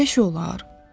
Belə şey olar?